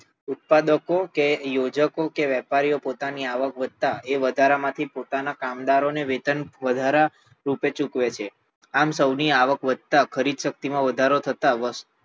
ઉત્પાદકો કે યોજકો કે વેપારીઓ પોતાની આવક વધતા એ વધારામાંથી પોતાના કામદારો ને વેતન વધારે રૂપે ચૂકવે છે આમ સૌની આવક વધતા ખરીદ શક્તિ માં વધારો થતા